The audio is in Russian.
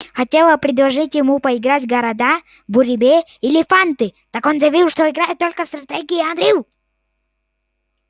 хотела предложить ему поиграть в города буриме или фанты так он заявил что играет только в стратегии и анрил